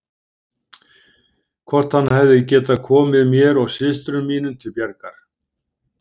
Hvort hann hefði getað komið mér og systrum mínum til bjargar.